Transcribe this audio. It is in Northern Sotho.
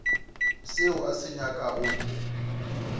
seo a se nyakago go